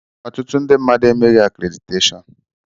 Ọtụtụ ndị mmadụ emeghị akréditeshọọn.